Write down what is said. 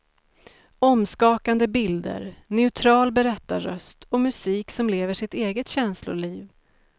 Omskakande bilder, neutral berättarröst och musik som lever sitt eget känsloliv.